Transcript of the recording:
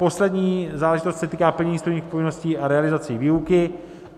Poslední záležitost se týká plnění studijních povinností a realizace výuky.